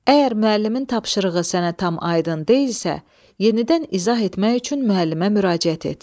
Əgər müəllimin tapşırığı sənə tam aydın deyilsə, yenidən izah etmək üçün müəllimə müraciət et.